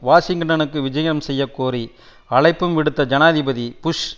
வாஷிங்டனுக்கு விஜயம் செய்ய கோரி அழைப்பும் விடுத்த ஜனாதிபதி புஷ்